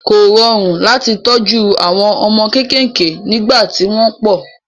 Kò rọrùn láti tọ́jú àwọn ọmọ kéékèèké nígbà tí wọ́n pọ̀.